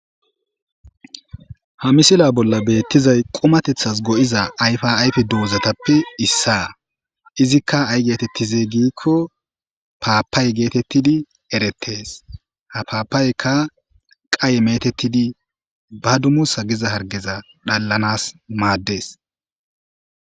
ha misila bolla beettizay qumatethas go7iza ayfa ayfe dozatappe issaa izikka ay geetettizey giikko paappay geetettidi eretees ha paapaykka qaye metettidi ba dumu sa giza hargeza dhallanas maaddes